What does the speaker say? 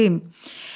Neyləyim?